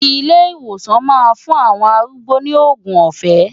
Ilé ìwòsàn máa fún àwọn arúgbó ní òògùn ọ̀fẹ́.